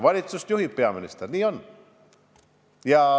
Valitsust juhib peaminister, nii on.